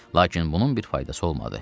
Lakin bunun bir faydası olmadı.